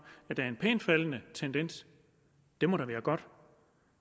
at der er en pænt faldende tendens det må da være godt